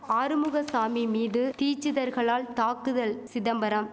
ஆறுமுக சாமி மீது தீச்சிதர்களால் தாக்குதல் சிதம்பரம்